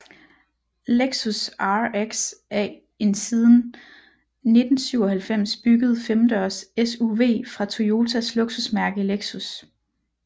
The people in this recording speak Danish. Lexus RX er en siden 1997 bygget femdørs SUV fra Toyotas luksusmærke Lexus